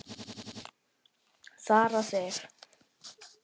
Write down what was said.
Sara Sif.